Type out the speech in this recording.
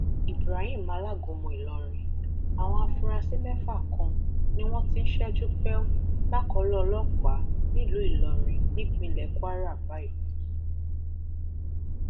ibrahim alágúnmu ìlọrin àwọn afurasí mẹfà kan ni wọn ti ń ṣẹjú pẹù lákọlò ọlọpàá nílùú ìlọrin nípínlẹ kwara báyìí